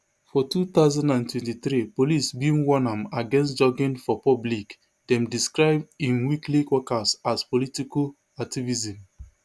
for two thousand and twenty-three police bin warn am against jogging for public dem describe im weekly workouts as political activism